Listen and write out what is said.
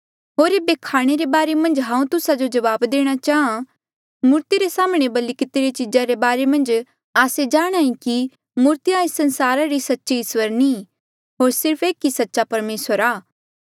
होर ऐबे खाणे रे बारे मन्झ हांऊँ तुस्सा जो जबाब देणा चाहां मूर्ति रे साम्हणें बलि कितिरी चीजा रे बारे मन्झ आस्से जाणांहे कि मूर्तिया एस संसारा री सच्ची इस्वर नी होर सिर्फ एक ही सच्चा परमेसर आ